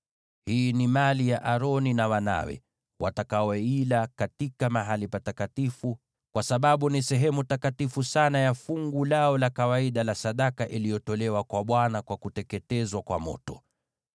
Hii ni mali ya Aroni na wanawe, watakaoila katika mahali patakatifu, kwa sababu ni sehemu takatifu sana ya fungu lao la kawaida la sadaka iliyotolewa kwa Bwana kwa kuteketezwa kwa moto.”